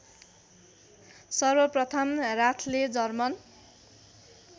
सर्वप्रथम राथले जर्मन